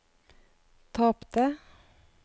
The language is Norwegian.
tapte